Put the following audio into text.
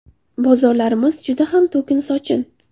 Bozorlarimiz juda ham to‘kin-sochin.